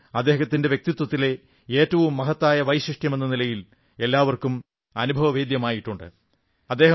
ഇത് ഇദ്ദേഹത്തിന്റെ വ്യക്തിത്വത്തിലെ ഏറ്റവും മഹത്തായ വൈശിഷ്ട്യമെന്ന നിലയിൽ എല്ലാവർക്കും അനുഭവവേദ്യമായിട്ടുണ്ട്